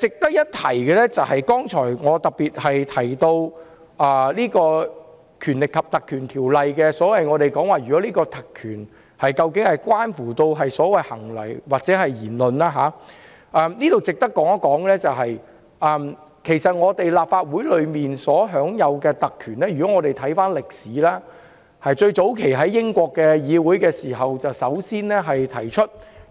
我剛才特別提到《條例》賦予的特權關乎議員的行為或言論，就此，值得一提的是，關於議員在立法會享有的特權，如果我們回顧歷史，最早期是英國議會首先提出，